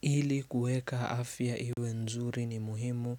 Ili kueka afia iwe nzuri ni muhimu